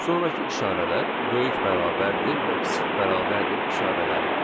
Sonrakı işarələr böyük bərabərdir və kiçik bərabərdir işarələridir.